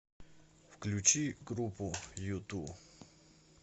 включи группу юту